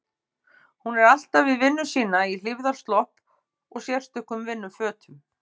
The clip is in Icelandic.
Hún er alltaf við vinnu sína í hlífðarslopp og sérstökum vinnufötum.